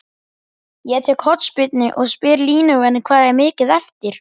Ég tek hornspyrnu og spyr línuvörðinn hvað er mikið eftir?